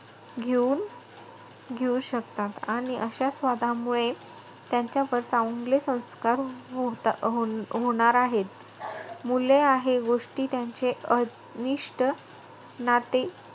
घेऊन~ घेऊ शकतात आणि अशा स्वादामुळे त्यांच्यावर चांगले संस्कार होता~ हो~ होणार आहे. मुले आहे गोष्टी त्यांची अं निष्ठ नाते,